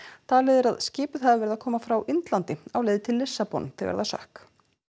talið er að skipið hafi verið að koma frá Indlandi á leið til Lissabon þegar það sökk